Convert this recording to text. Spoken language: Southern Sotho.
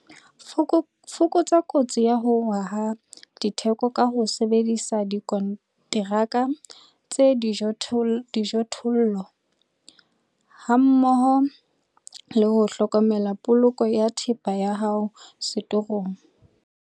Fokotsa kotsi ya ho wa ha ditheko ka ho sebedisa dikonteraka tsa dijothollo hammoho le ho hlokomela poloko ya thepa ya hao setorong.